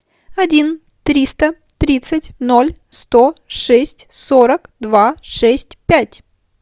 один триста тридцать ноль сто шесть сорок два шесть пять